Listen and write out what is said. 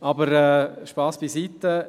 Aber Spass beiseite.